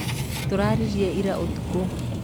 Tũraririe ira ũtukũ.